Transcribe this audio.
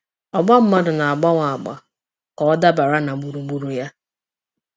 Ọgbamadụ na-agbanwe agba ka ọ dabara na gburugburu ya.